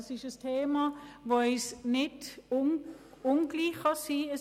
Es ist ein Thema, das einem nicht gleichgültig sein kann.